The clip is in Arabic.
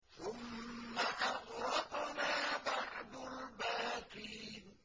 ثُمَّ أَغْرَقْنَا بَعْدُ الْبَاقِينَ